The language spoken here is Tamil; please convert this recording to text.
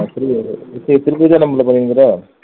free ஆ இரு, இப்போ திரும்பியும்